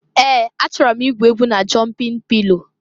Ee! Achọrọ m igwu egwu na jọmpịn pilo.